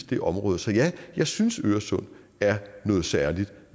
det område så ja jeg synes at øresund er noget særligt